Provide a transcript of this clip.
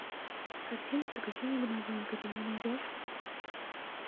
картина приключения домовенка ты мне найдешь